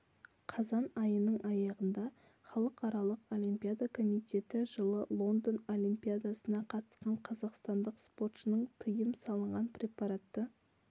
қазан айының аяғында халықаралық олимпиада комитеті жылы лондон олимпидасына қатысқан қазақстандық спортшының тиым салынған препаратты